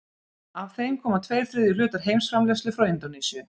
af þeim koma tveir þriðju hlutar heimsframleiðslu frá indónesíu